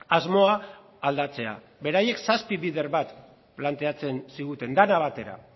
asmoa aldatzea beraiek zazpi bider bat planteatzen ziguten dena batera